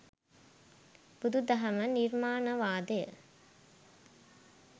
බුදු දහම නිර්මාණවාදය